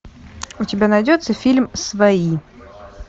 у тебя найдется фильм свои